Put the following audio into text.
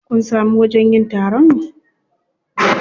Kun samu wajen yin taron?